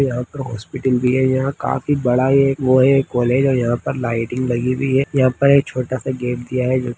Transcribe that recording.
यहाँ पर हॉस्पिटल दिया हुआ है काफी बड़ा है वो है कॉलेज है यहाँ पर लाइटिंग लगी हुई है यहाँ पर एक छोटा सा गेट दिया हुआ है।